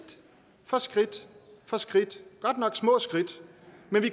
for skridt for skridt godt nok små skridt